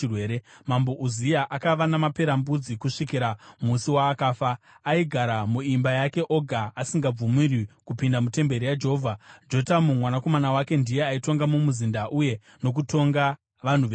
Mambo Uzia akava namaperembudzi kusvikira musi waakafa. Aigara muimba yake oga asingabvumirwi kupinda mutemberi yaJehovha. Jotamu mwanakomana wake ndiye aitonga mumuzinda uye nokutonga vanhu venyika.